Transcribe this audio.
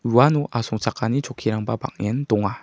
uano asongchakani chokkirangba bang·en donga.